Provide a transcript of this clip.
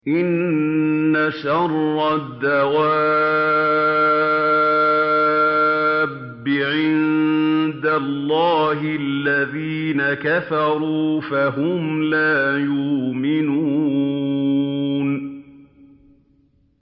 إِنَّ شَرَّ الدَّوَابِّ عِندَ اللَّهِ الَّذِينَ كَفَرُوا فَهُمْ لَا يُؤْمِنُونَ